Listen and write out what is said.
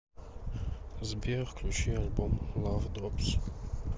сбер включи альбом лав дропс